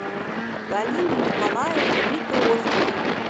галины николаевны митрохиной